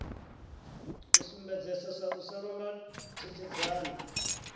sumbedzesa u sa londa tikedzani